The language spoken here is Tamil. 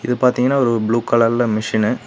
பாத்தீங்கன்னா ஒரு ப்ளூ கலர்ல மிஷின்னு .